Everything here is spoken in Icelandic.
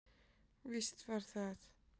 Víst var það.